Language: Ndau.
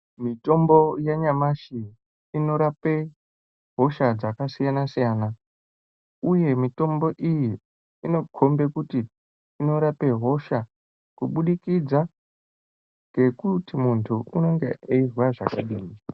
Mitombo yanyamashi inorapa hosha dzakasiyana siyana uye mitombo iyi inokomba kuti inorapa hosha kuburikidza ngekuti muntu anenge einzwa zvakadini.